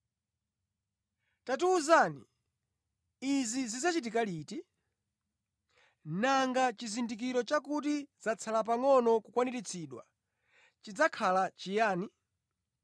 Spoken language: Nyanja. “Tatiwuzani, izi zidzachitika liti? Nanga chizindikiro chakuti zatsala pangʼono kukwaniritsidwa chidzakhala chiyani?”